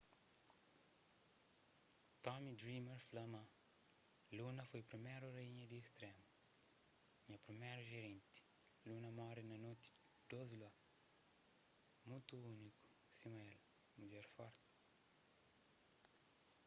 tommy dreamer fla ma luna foi priméru raínha di istrému nha priméru jerenti luna móre na noti dôs lua mutu úniku sima el mudjer forti